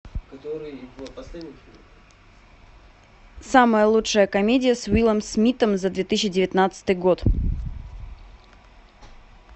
самая лучшая комедия с уиллом смитом за две тысячи девятнадцатый год